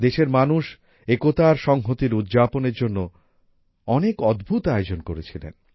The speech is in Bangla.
দেশের মানুষ একতা আর সংহতির উদযাপনের জন্য অনেক অদ্ভূত আয়োজন করেছিলেন